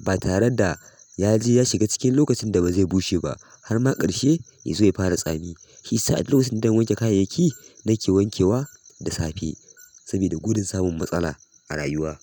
batare da yaje ya shiga cikin lokacin da bazai bushe ba harma ƙarshe yazo ya fara tsami. Hi sa' adda lokacin da zan wanke kayayyaki nake wanke wa da safe saboda gudun samun matsala a rayuwa.